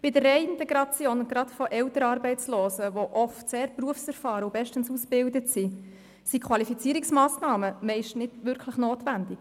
Bei der Reintegration, gerade von älteren Arbeitslosen, die oft sehr berufserfahren und bestens ausgebildet sind, sind Qualifizierungsmassnahmen meist nicht wirklich notwendig.